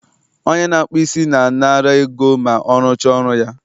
onye na-akpụ isi na-anara ego ma ọrụcha ọrụ ya